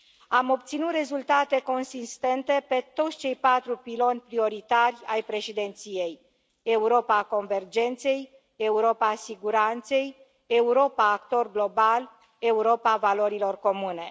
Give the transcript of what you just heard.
Am obținut rezultate consistente pe toți cei patru piloni prioritari ai președinției Europa convergenței, Europa siguranței, Europa, actor global, Europa valorilor comune.